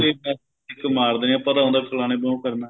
ਹਾਂਜੀ kick ਮਾਰਦੇ ਏ ਆਪਾਂ ਨੂੰ ਤਾਂ ਉਹ ਹੈ ਫਲਾਣੇ ਨੂੰ ਉਹ ਕਰਨਾ